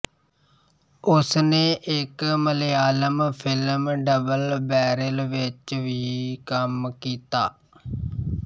ਉਸਨੇ ਇੱਕ Malayalam film double barrel ਵਿੱਚ ਵੀ ਕੰਮ ਕੀਤਾ